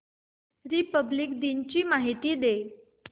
Republic दिन ची माहिती दे